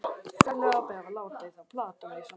Ferlegur api að hafa látið þá plata mig svona.